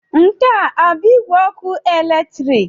Nke a ọ bụ igwe ọkụ eletrik?